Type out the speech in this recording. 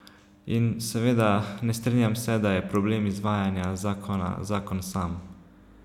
In, seveda, ne strinjam se, da je problem izvajanja zakona zakon sam.